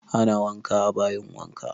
Ana wanka a bayin wanka